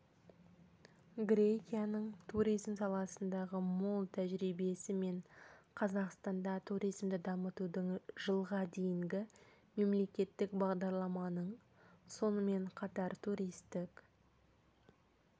грекияның туризм саласындағы мол тәжірибесі мен қазақстанда туризмді дамытудың жылға дейінгі мемлекеттік бағдарламаның сонымен қатар туристік